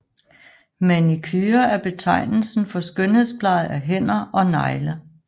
Manicure er betegnelsen for skønhedspleje af hænder og negle